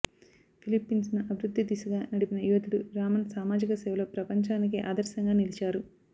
ఫిలిప్పిన్స్ను అభివృద్ధి దిశగా నడిపిన యోధుడు రామన్ సామాజిక సేవలో ప్రపంచానికే ఆదర్శంగా నిలిచారు